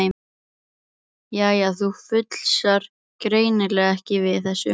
Jæja, þú fúlsar greinilega ekki við þessu.